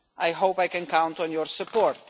I hope I can count on your support.